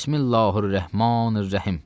Bismillahir-Rəhmanir-Rəhim.